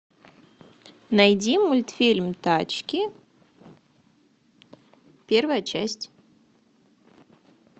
найди мультфильм тачки первая часть